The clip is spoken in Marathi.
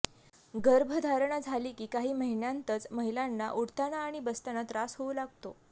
गर्भधारणा झाली की काही महिन्यांतच महिलांना उठताना आणि बसताना त्रास होऊ लागतो